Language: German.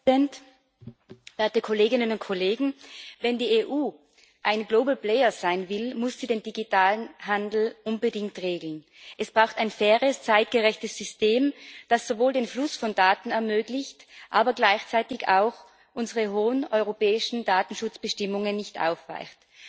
Werter Herr Präsident, werte Kolleginnen und Kollegen! Wenn die EU ein Global Player sein will, muss sie den digitalen Handel unbedingt regeln. Es braucht ein faires, zeitgerechtes System, das sowohl den Fluss von Daten ermöglicht, als auch gleichzeitig unsere hohen europäischen Datenschutzbestimmungen nicht aufweicht.